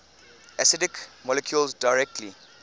acidic molecules directly